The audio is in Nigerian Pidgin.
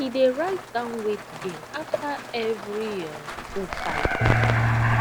he dey write down weight gain after every um food circle